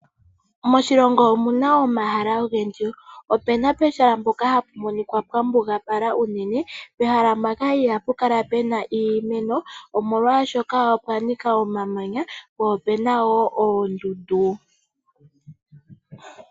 Moshilongo omuna omahala ogendji opena pehaka mpoka apu monika pwa mbugalala unene pehala mpoka ihapu kala pena iimeno molwaashoka opwanika omamanya po ohapu kala pena woo oondundu.